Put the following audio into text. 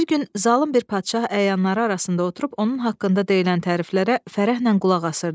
Bir gün zalım bir padşah əyanları arasında oturub onun haqqında deyilən təriflərə fərəhlə qulaq asırdı.